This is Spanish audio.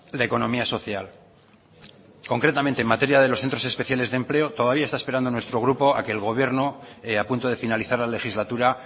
la economía social concretamente en materia de los centros especiales de empleo todavía está esperando nuestro grupo a que el gobierno a punto de finalizar la legislatura